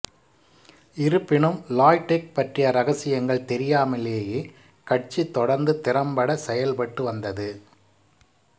இருப்பினும் Lai Teck பற்றிய இரகசியங்கள் தெரியாமலேயே கட்சி தொடர்ந்து திறம்பட செயல்பட்டு வந்தது